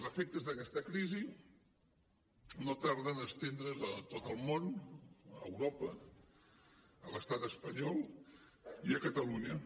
els efectes d’aquesta crisi no tarden a estendre’s a tot el món a europa a l’estat espanyol i a catalunya